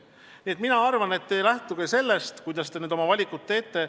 Ma arvan, et te lähtuge sellest, kuidas te oma valikud teete.